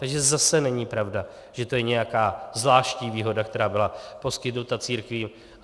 Takže zase není pravda, že to je nějaká zvláštní výhoda, která byla poskytnuta církvím.